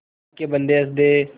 अल्लाह के बन्दे हंस दे